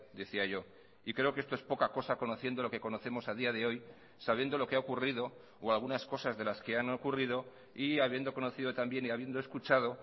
decía yo y creo que esto es poca cosa conociendo lo que conocemos a día de hoy sabiendo lo que ha ocurrido o algunas cosas de las que han ocurrido y habiendo conocido también y habiendo escuchado